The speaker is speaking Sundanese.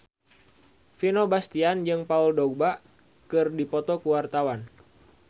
Vino Bastian jeung Paul Dogba keur dipoto ku wartawan